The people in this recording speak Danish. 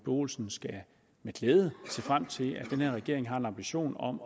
olsen med glæde skal se frem til at den her regering har en ambition om